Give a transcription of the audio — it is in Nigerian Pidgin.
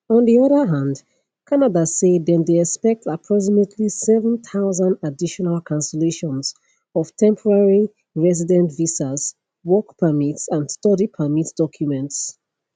on di oda hand canada say dem dey expect approximately 7000 additional cancellations of temporary resident visas work permits and study permit documents